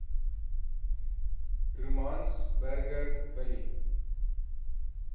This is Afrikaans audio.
romans burger willie